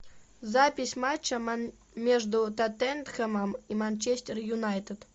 запись матча между тоттенхэм и манчестер юнайтед